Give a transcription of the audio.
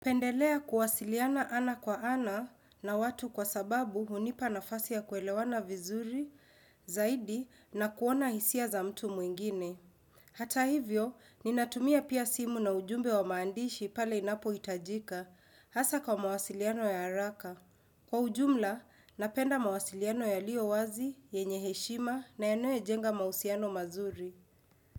Pendelea kuwasiliana ana kwa ana na watu kwa sababu hunipa nafasi ya kuelewana vizuri, zaidi na kuona hisia za mtu mwengine. Hata hivyo, ninatumia pia simu na ujumbe wa maandishi pale inapohitajika, hasa kwa mawasiliano ya haraka. Kwa ujumla, napenda mawasiliano yaliyo wazi, yenye heshima na yanayojenga mahusiano mazuri.